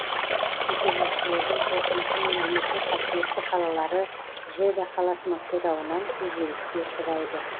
көтерілісшілердің қорқынышы мен үміті қасиетті қалалары джеда қаласының қирауынан күйзеліске ұшырайды